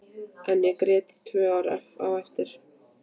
En ég grét í tvö ár á eftir.